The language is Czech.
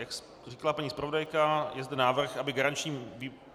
Jak řekla paní zpravodajka, je zde návrh, aby garančním výborem... .